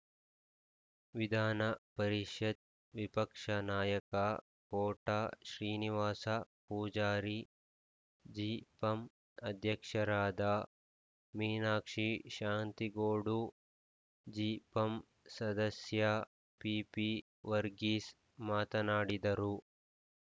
ವಿಧಾನ ಪರಿಷತ್ ವಿಪಕ್ಷ ನಾಯಕ ಕೋಟ ಶ್ರೀನಿವಾಸ ಪೂಜಾರಿ ಜಿಪಂಅಧ್ಯಕ್ಷರಾದ ಮೀನಾಕ್ಷಿ ಶಾಂತಿಗೋಡು ಜಿಪಂಸದಸ್ಯ ಪಿಪಿವರ್ಗೀಸ್ ಮಾತನಾಡಿದರು